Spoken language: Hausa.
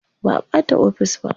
Ba a bata ofis ba.